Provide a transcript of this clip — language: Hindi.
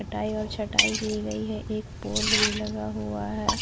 कटाई एवं छटाई की गई है एक पोल भी लगा हुआ है।